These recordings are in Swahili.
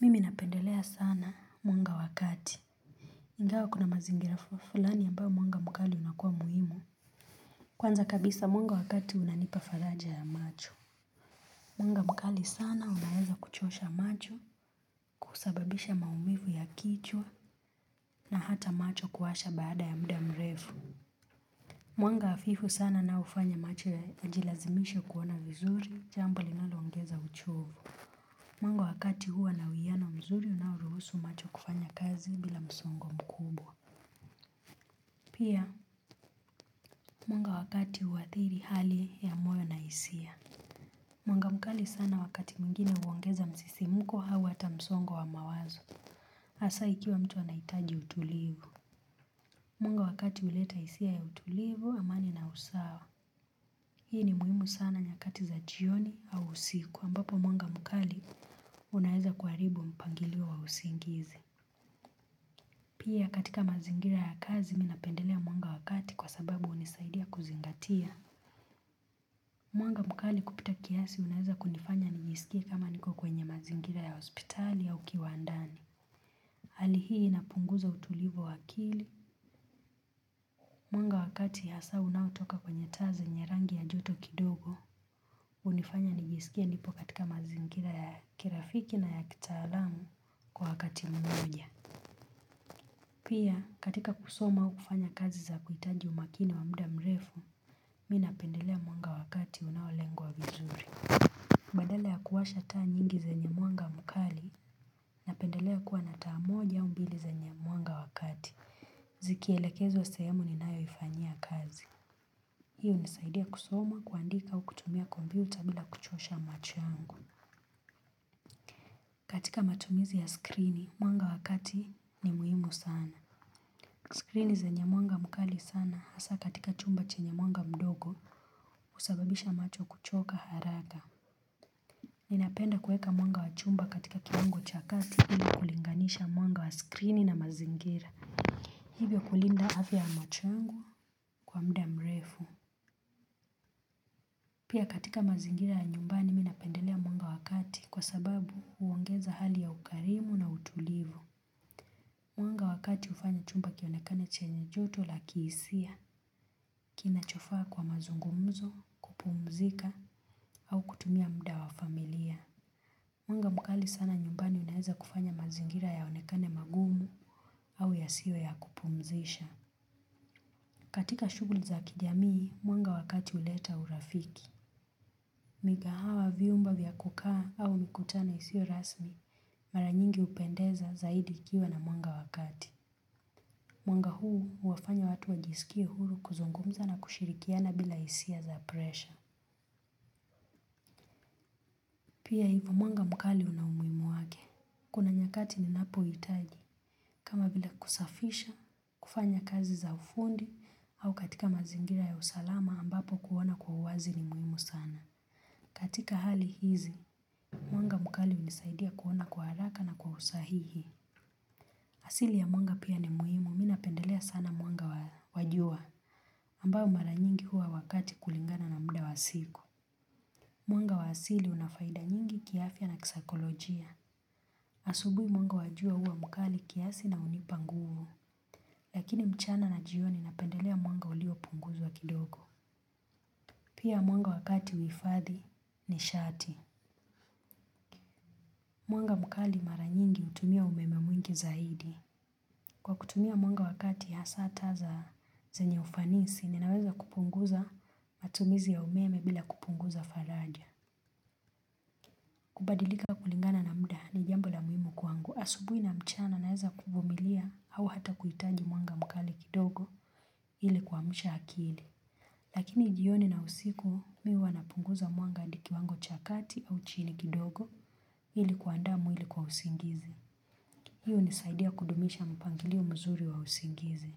Mimi napendelea sana mwanga wakati. Ingawa kuna mazingira fulani ambayo mwanga mkali unakua muhimu. Kwanza kabisa mwanga wa kati unanipa faraja ya macho. Mwanga mkali sana unaweza kuchosha macho kusababisha maumivu ya kichwa na hata macho kuwasha baada ya muda mrefu. Mwanga hafifu sana unaofanya macho yajilazimishe kuona vizuri, jambo ambalo linaloongeza uchovu. Mwanga wa kati huwa na uwiyano mzuri unaoruhusu macho kufanya kazi bila msongo mkubwa. Pia mwanga wakati huadhiri hali ya moyo na hisia. Mwanga mkali sana wakati mwingine uongeza msisimuko au hata msongo wa mawazo. Asa ikiwa mtu anahitaji utulivu mwanga wakati huleta hisia ya utulivu amani na usawa. Hii ni muhimu sana nyakati za jioni au usiku ambapo mwanga mkali unaeza kuharibu mpangilio wa usingizi. Pia katika mazingira ya kazi minapendelea mwanga wa kati kwa sababu hunisaidia kuzingatia. Mwanga mkali kupita kiasi unaeza kunifanya nijisikie kama niko kwenye mazingira ya hospitali au kiwandani. Hali hii inapunguza utulivu wa akili. Mwanga wa kati hasa unautoka kwenye taa zenye rangi ya joto kidogo. Unifanya nijisikie nipo katika mazingira ya kirafiki na ya kitaalamu kwa wakati munguja. Pia katika kusoma au kufanya kazi za kuhitaji umakini wamuda mrefu, mi napendelea mwanga wa kati unaolengwa wa vizuri. Badala ya kuwasha taa nyingi zenye mwanga mkali, napendelea kuwa na taa moja au mbili zenye mwanga wa kati. Zikielekezwa sehemu ninayoifanyia kazi hio hunisaidia kusoma kuandika au kutumia komputa bila kuchosha macho yangu. Katika matumizi ya skrini, mwanga wa kati ni muhimu sana. Skrini zenye mwanga mkali sana hasa katika chumba chenye mwanga mdogo usababisha macho kuchoka haraka. Ninapenda kueka mwanga wachumba katika kiungo cha kati ili kulinganisha mwanga wa skrini na mazingira. Hivyo kulinda afya ya mocho yangu kwa muda mrefu pia katika mazingira ya nyumbani minapendelea mwanga wa kati kwa sababu huongeza hali ya ukarimu na utulivu. Mwanga wakati ufanya chumba kionekane chenye joto la kiisia. Kina chofaa kwa mazungumzo kupumzika au kutumia muda wa familia. Mwanga mkali sana nyumbani unaeza kufanya mazingira yaonekane magumu au yasiwe ya kupumzisha. Katika shughuli za kijamii, mwanga wa kati uleta urafiki. Migahawa viumba vya kukaa au mikutano isio rasmi mara nyingi hupendeza zaidi ikiwa na mwanga wa kati. Mwanga huu uwafanya watu wajisikia huru kuzungumza na kushirikiana bila hisia za presha. Pia hivyo mwanga mkali una umuhimu wake. Kuna nyakati ni napo hitaji kama vile kusafisha, kufanya kazi za ufundi au katika mazingira ya usalama ambapo kuona kwa uwazi ni muhimu sana. Katika hali hizi, mwanga mkali unisaidia kuona kwa haraka na kwa usahihi. Asili ya mwanga pia ni muhimu minapendelea sana mwanga wa jua ambao mara nyingi hua wakati kulingana na muda wa siku. Mwanga wa asili una faida nyingi kiafya na kisaikolojia. Asubuhi mwanga wa jua huwa mkali kiasi na unipa nguvu. Lakini mchana na jioni napendelea mwanga ulio punguzwa kidogo. Pia mwanga wakati huifadhi nishati. Mwanga mkali mara nyingi utumia umeme mwingi zaidi. Kwa kutumia mwanga wa kati hasa taa za zenye ufanisi, ninaweza kupunguza matumizi ya umeme bila kupunguza faraja. Kubadilika kulingana na muda ni jambo la muhimu kwangu. Asubuhi na mchana naeza kuvumilia au hata kuhitaji mwanga mkali kidogo ili kuamsha akili. Lakini jioni na usiku, mimi huwa napunguza mwanga hadi kiwango cha kati au chini kidogo ili kuanda mwili kwa usingizi. Hio hunisaidia kudumisha mpangilio mzuri wa usingizi.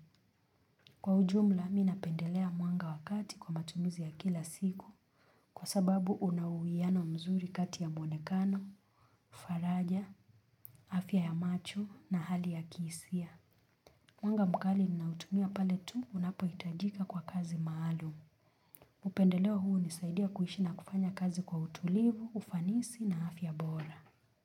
Kwa ujumla, minapendelea mwanga wa kati kwa matumizi ya kila siku kwa sababu unauwiyano mzuri kati ya mwonekano, faraja, afya ya macho na hali ya kisia. Mwanga mkali ninautumia pale tu unapohitajika kwa kazi maalum. Mupendeleo huu hunisaidia kuhishi na kufanya kazi kwa utulivu, ufanisi na afya bora.